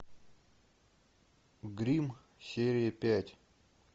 гримм серия пять